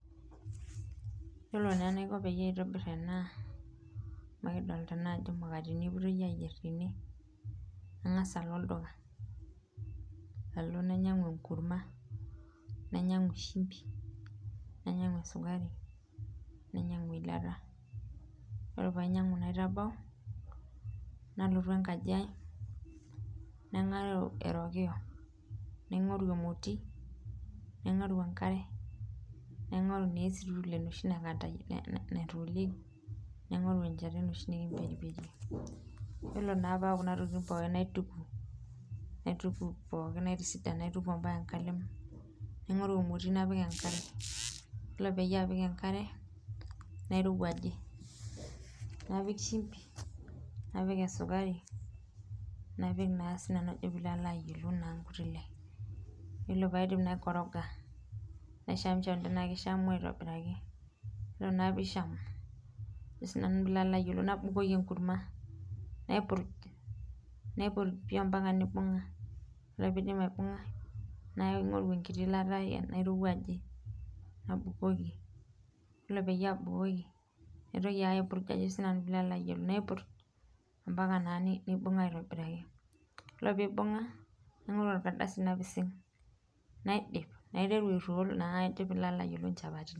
Yiolo naa enaiko pee aitobir ena ,amu adolita ajo mukateni epoitoi eyier tene ,nangas alo olduka, alo nainyangu enkurma ,nainyangu shumpi, nainyangu esukari nainyangu eilata ore pee ainyangu naitabau ,nalotu enkaji ai naingoru erokiyo naingoru emoti naingoru enkare, naingoru naa estool shi naikandayieki naingoru enchata enoshi nikimperiperie ,yiolo naa pee ayau Kuna tokiting pooki naituku, naituku mpaka enkalem naituku emoti napik enkare ,yiolo pee apik enkare nairowajie ,napik shumbi ,napik sukari ,napik naa ajo sii nanu pee ilo ayiolou nkuti le.yiolo pee aidip naikoroga naishamsham tenaa keishamu aitobiraki ,ore naa pee ishamu nabukokini enkurma ,naipurj, naipurj pii ompaka neibunga ,ore pee eidip aibungayu naingoru enkiti ilata airowajie nabukoki ,yiolo pee abukoki naitoki ake aipurjm mpaka naa neibunga aitobiraki, yiolo pee eibunga naingoru orkadasi napising naiteru airoll naa nchapatini.